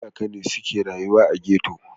Talakawa ne suke rayuwa a ghetto.